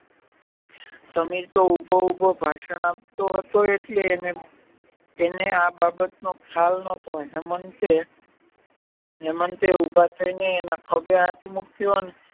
સમીર તો ઉભો ઉભો ભાષણ આપતો હતો એટલે એને આ બાબતનો ખ્યાલ નોટો હેમંતે ઉભા થઈને એના ખભે હાથ મુક્યો અને